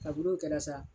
Kaburu kɛra sa